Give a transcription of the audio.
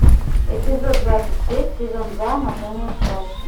эпизод двадцать шесть сезон два анатомия страсти